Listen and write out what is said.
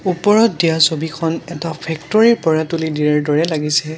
ওপৰত দিয়া ছবিখন এটা ফেক্টৰী ৰ পৰা তুলি দিয়াৰ দৰে লাগিছে।